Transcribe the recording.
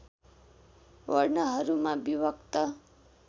वर्णहरूमा विभक्त